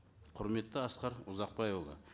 құрметті асқар ұзақбайұлы